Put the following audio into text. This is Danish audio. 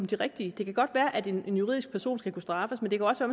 de rigtige det kan godt være at en juridisk person skal kunne straffes men det kan også